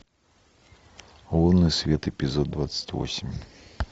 лунный свет эпизод двадцать восемь